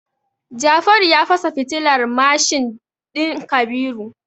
Jafaru ya fasa fitilar mashin din Kabiru.